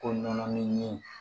Ko nɔnɔmin